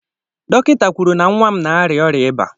Dọkịta kwụrụ na-nwa m na-aria oria ịba.